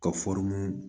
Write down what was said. Ka